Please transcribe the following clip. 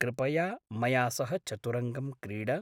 कृपया मया सह चतुरङ्गं क्रीड।